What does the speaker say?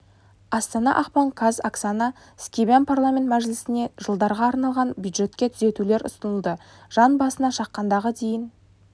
астана ақпан қаз оксана скибан парламент мәжілісіне жылдарға арналған бюджетке түзетулер ұсынылды жан басына шаққандағы дейін